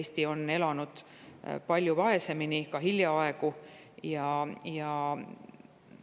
Eesti on elanud ja elas veel hiljaaegu palju vaesemini.